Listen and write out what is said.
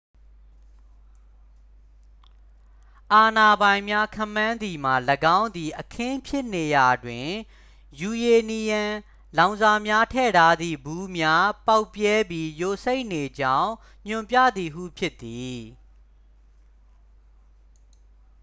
အာဏာပိုင်များ ခန့်မှန်းသည်မှာ ၎င်းသည် အခင်းဖြစ်နေရာတွင် ယူရေနီယံလောင်စာများထည့်ထားသည့် ဗူးများ ပေါက်ပြဲပြီး ယိုစိမ့်နေကြောင်း ညွှန်ပြသည်ဟု ဖြစ်သည်